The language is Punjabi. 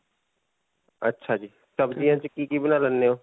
ਅੱਛਾ ਜੀ. ਸਬਜੀਆਂ 'ਚ ਕਿ-ਕੀ ਬਣਾ ਲੈਂਦੇ ਹੋ?